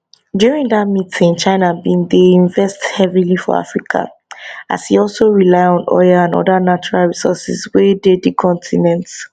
during dat meeting china bin dey invest heavily for africa as e also rely on oil and oda natural resources wey dey di continent